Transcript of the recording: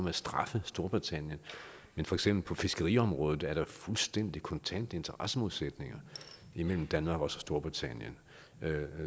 at straffe storbritannien men for eksempel på fiskeriområdet er der fuldstændig kontante interessemodsætninger imellem danmark og storbritannien